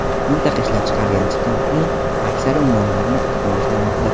Mintaqa ishlab chiqargan chiqitning aksari ummonlarni ifloslamoqda.